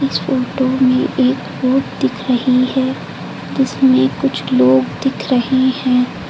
इस फोटो में एक रोड दिख रही है जिसमें कुछ लोग दिख रहे हैं।